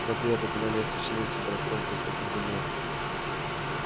смотри эти туннели освещены и температура здесь как на земле